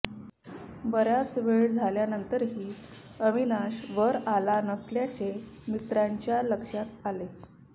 बराच वेळ झाल्यानंतरही अविनाश वर आला नसल्याचे मित्राच्या लक्षात आले